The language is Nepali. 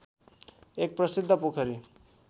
एक प्रसिद्ध पोखरी